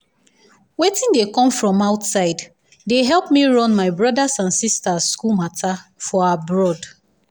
wetin dey come from outside dey help me run my brothers and sisters school matter for abroad.